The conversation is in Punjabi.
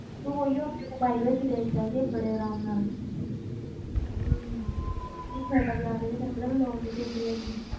ਤੂੰ ਉਹਓ ਆਪਣੇ mobile ਵਿੱਚ ਦੇਖ ਸਕਦੀ ਹੈਂ ਬੜੇ ਆਰਾਮ ਨਾਲ ਹਮ ਹੁਣ theater ਜਾਣ ਦੀ ਵੀ ਤੈਨੂੰ ਪਤਾ ਲੋੜ ਨੀ ਪੈਂਦੀ ਹੈਗੀ।